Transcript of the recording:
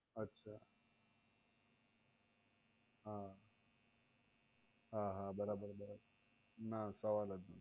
અચ્છા હા હા બરાબર બરાબર સવાલ જ નથી.